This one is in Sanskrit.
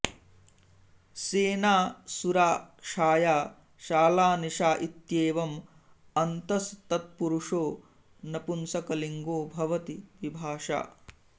सेना सुरा छाया शाला निशा इत्येवम् अन्तस् तत्पुरुषो नपुंसकलिङ्गो भवति विभाषा